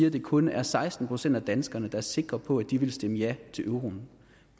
at det kun er seksten procent af danskerne der er sikre på at de ville stemme ja til euroen